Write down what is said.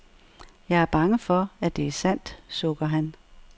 Jeg er bange for, at det er sandt, sukker han.